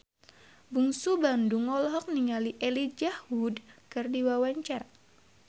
Bungsu Bandung olohok ningali Elijah Wood keur diwawancara